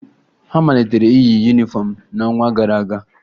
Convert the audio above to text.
Ha malitere iyi yunifọmụ n'ọnwa gara aga